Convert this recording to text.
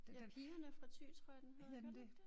Ja pigerne fra Thy tror jeg den hedder. Gør den ikke det?